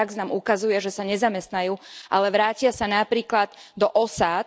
A prax nám ukazuje, že sa nezamestnajú, ale vrátia sa napríklad do osád.